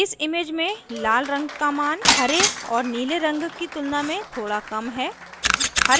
इस image में लाल in का image हरे और नीले in की तुलना में थोड़ा कम है